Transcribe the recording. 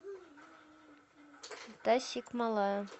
тасикмалая